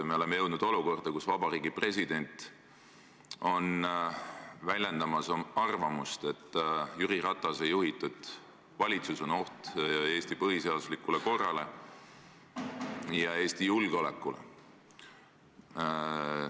Me oleme jõudnud olukorda, kus Vabariigi President väljendab arvamust, et Jüri Ratase juhitud valitsus on oht Eesti põhiseaduslikule korrale ja Eesti julgeolekule.